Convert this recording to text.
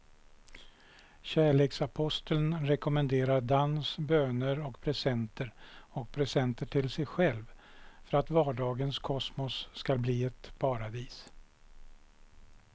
Kärleksaposteln rekommenderar dans, böner och presenter och presenter till sig själv för att vardagens kosmos ska bli ett paradis.